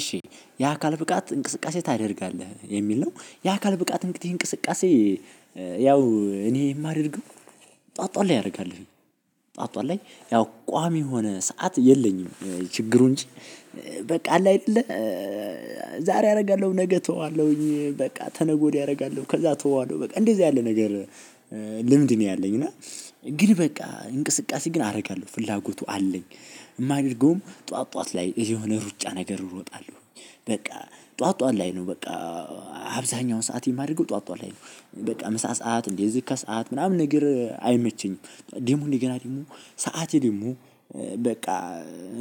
እሺ የአካል ብቃት እንቅስቃሴ ታደርጋለህ የሚል ነው። የአካል ብቃት እንግዲህ እንቅስቃሴ ያው እኔ የማደርገው ጠዋት ጠዋት ላይ አደርጋለሁ። ጠዋት ጠዋት ላይ ያው ቋሚ የሆነ ሰዓት የለኝም ችግሩ እንጂ በቃ አለ አይደለ ዛሬ አደርጋለሁ ነገ እተዋለሁኝ በቃ ከነገ ወድያ አደርጋለሁ ከዛ እተዋለሁ በቃ እንደዛ ያለ ነገር ልምድ ነው ያለኝ። እና ግን በቃ እንቅስቃሴ ግን አደርጋለሁ ፍላጎቱ አለኝ። የማደርገውም ጠዋት ጠዋት ላይ የሆነ ሩጫ ነገር እሮጣለሁ በቃ ጠዋት ጠዋት ላይ ነው በቃ አብዛኛውን ሰዓት የማደርገው ጠዋት ጠዋት ላይ ነው። በቃ ምሳ ሰዓት እንደዚህ ከሰአት ምናምን ነገር አይመቸኝም። ደግሞ እንደገና ደግሞ ሰዓቴ ደግሞ በቃ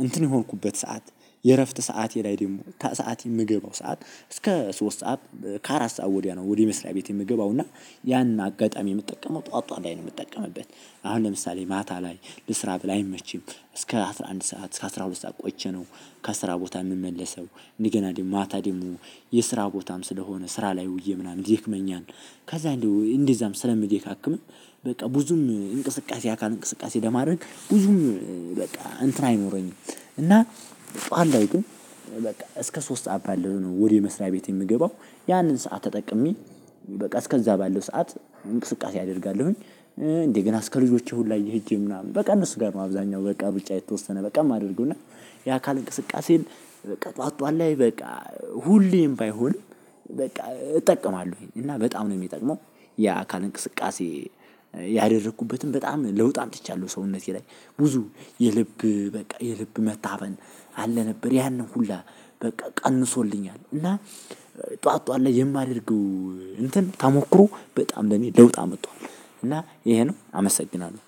እንትን የሆንኩቤት ሰዓት የእረፍት ሰዓተ ለይ ደግሞ ከሰአት የምገባው ሰዓት አስከ ሶስት ሰዓት ከአራት ሰዓት ወዲያ ነው ወደ መስርያ ቤት የምገባው እና ያን አጋጣሚ የምጠቀመው ጠዋት ጠዋት ላይ ነው የምጠቀምበት። አሁን ለምሳሌ ማታ ላይ ልስራ ብለህ አይመችም እስከ አስራ አንድ ሰዓት እስከ አስራ ሁለት ሰዓት ቆይቼ ነው ከአስራ ቦታ የምመለሰው እንደገና ደግሞ ማታ ደግሞ የስራ ቦታም ስለሆነ ስራ ላይ ውዬ ምናምን ይደክመኛል ከዛ እንደው እንደዛም ስለሚደካክም በቃ ብዙም እንቅስቃሴ አካል እንቅስቃሴ ለማድረግ ብዙም በቃ እንትን አይኖረኝም እና ጠዋት ላይ ግን በቃ እስከ ሶስት ሰዓት ባለው ነው ወደ መስሪያ ቤት የምገባው። ያንን ሰዓት ተጠቅሜ በቃ እስከዛ ባለው ሰዓት እንቅስቃሴ አደርጋለሁኝ። እንደገና እስከ ልጆቼ ሁላ ሂጄ ምናምን በቃ እነሱ ጋር ነው አብዛኛው በቃ ብቻ የተወሰነ በቃ የማደርገው እና የአካል እንቅስቃሴን በቃ ጠዋት ጠዋት ላይ በቃ ሁሌም ባይሆን በቃ እጠቀማለሁኝ እና በጣም ነው የምጠቅመው። የአካል እንቅስቃሴ ያደረግኩበትን በጣም ለውጥ አምጥቻለሁ በሰውነት ላይ። ብዙ የልብ በቃ የልብ መታፈን አለ ነበር ያንን ሁላ በቃ ቀንሶልኛል። እና ጠዋት ጠዋት ላይ የማደርገው እንትን ታሞክሮ በጣም ለኔ ለውጥ አምጥተዋል እና ይሄ ነው። አመሰግናለሁ።